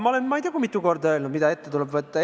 Ma olen ma ei tea kui mitu korda öelnud, mida ette tuleb võtta.